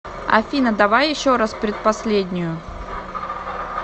афина давай еще раз предпоследнюю